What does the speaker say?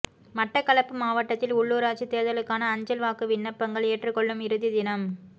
மட்டக்களப்பு மாவட்டத்தில் உள்ளுராட்சி தேர்தலுக்கான அஞ்சல் வாக்கு விண்ணப்பங்கள் ஏற்றுக் கொள்ளும் இறுதித் தினம்